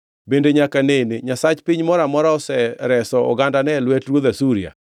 Bende nyaka nene nyasach piny moro amora osereso ogandane e lwet ruodh Asuria?